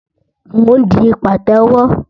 Mò ń di pàtẹ́wọ́